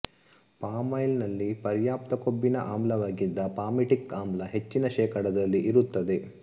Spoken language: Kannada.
ಪಾಮಾಯಿಲ್ ನಲ್ಲಿ ಪರ್ಯಾಪ್ತ ಕೊಬ್ಬಿನ ಆಮ್ಲವಾಗಿದ್ದ ಪಾಮಿಟಿಕ್ ಆಮ್ಲ ಹೆಚ್ಚಿನ ಶೇಕಡದಲ್ಲಿ ಇರುತ್ತದೆ